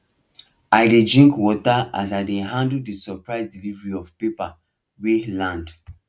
i dey drink water as i dey handle the surprise delivery of paper wey land